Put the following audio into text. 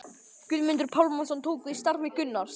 Guðmundur Pálmason tók við starfi Gunnars